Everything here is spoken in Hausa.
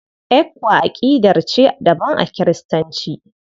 ECWA aƙidar ce daban a Kiristanci.